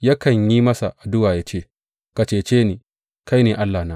Yakan yi masa addu’a yă ce, Ka cece ni; kai ne allahna.